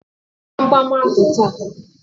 Wepu gbamgbam ahụ taa!